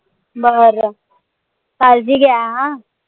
बर काळजी घ्या अं